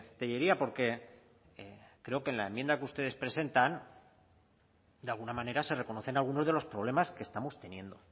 tellería porque creo que en la enmienda que ustedes presentan de alguna manera se reconocen algunos de los problemas que estamos teniendo